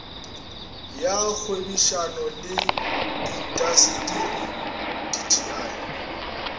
ya kgwebišano le intaseteri dti